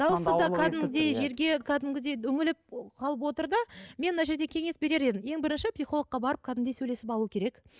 дауысы да кәдімгідей жерге кәдімгідей үңіліп қалып отыр да мен мына жерде кеңес берер едім ең бірінші психологқа барып кәдімгідей сөйлесіп алу керек